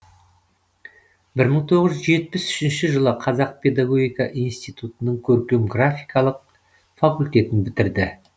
бір мың тоғыз жүз жетпіс үшінші жылы қазақ педогогика институтының көркем графикалық факультетін бітірді